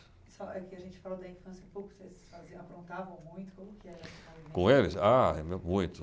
Só, é que a gente falou da infância pouco, vocês faziam, aprontavam muito? Como que era Com eles? Ah, muito.